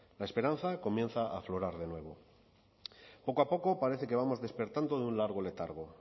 la esperanza comienza a aflorar de nuevo poco a poco parece que vamos despertando de un largo letargo